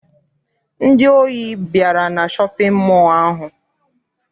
Ndị ohi bịara na shọpịn mọọ ahụ.